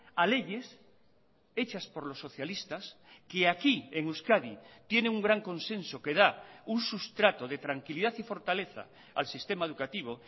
a leyes hechas por los socialistas que aquí en euskadi tiene un gran consenso que da un sustrato de tranquilidad y fortaleza al sistema educativo